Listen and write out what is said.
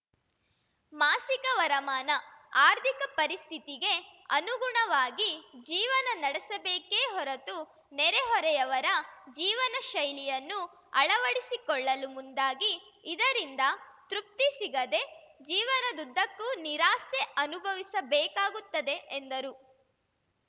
ಮಾಸಿಕ ವರಮಾನ ಆರ್ಥಿಕ ಪರಿಸ್ಥಿತಿಗೆ ಅನುಗುಣವಾಗಿ ಜೀವನ ನಡೆಸಬೇಕೇ ಹೊರತು ನೆರೆ ಹೊರೆಯವರ ಜೀವನ ಶೈಲಿಯನ್ನು ಅಳವಡಿಸಿಕೊಳ್ಳಲು ಮುಂದಾಗಿ ಇದರಿಂದ ತೃಪ್ತಿ ಸಿಗದೇ ಜೀವನದುದ್ದಕ್ಕೂ ನಿರಾಸೆ ಅನುಭವಿಸಬೇಕಾಗುತ್ತದೆ ಎಂದರು